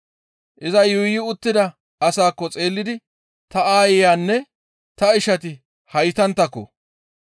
Iza yuuyi uttida asaakko xeellidi, «Ta aayeyanne ta ishati haytanttako!